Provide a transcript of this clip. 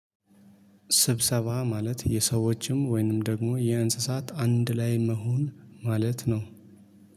ስብሰባ ማለት የሰዎችም ወይንም ደግሞ የእንስሳት አንድ ላይ መሆን ማለት ነው